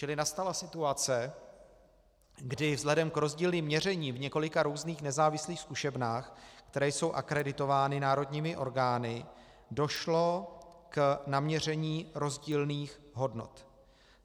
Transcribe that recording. Čili nastala situace, kdy vzhledem k rozdílným měřením v několika různých nezávislých zkušebnách, které jsou akreditovány národními orgány, došlo k naměření rozdílných hodnot.